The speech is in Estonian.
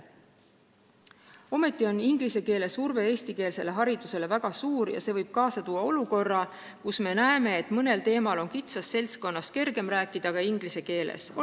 Samas on inglise keele surve eestikeelsele haridusele väga suur ja see võib kaasa tuua olukorra, kus me näeme, et mõnel teemal on kitsas ringis kergem rääkida inglise keeles.